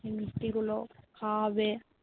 মিষ্টি গুলো খাওয়া হবে